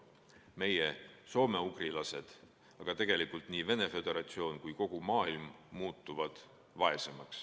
Meie, soomeugrilased, muutume vaesemaks, aga tegelikult muutuvad vaesemaks nii Venemaa Föderatsioon kui ka kogu maailm.